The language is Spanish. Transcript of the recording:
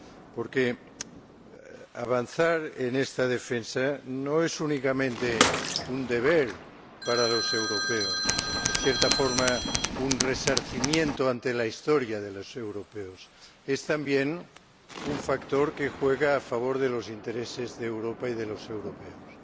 Porque avanzar en esta defensa no es únicamente un deber para los europeos, en cierta forma, un resarcimiento ante la Historia de los europeos. Es también un factor que juega a favor de los intereses de Europa y de los europeos.